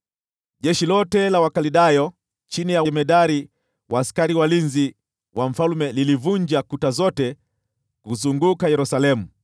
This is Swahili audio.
Jeshi lote la Wakaldayo chini ya jemadari wa askari walinzi wa mfalme walivunja kuta zote zilizoizunguka Yerusalemu.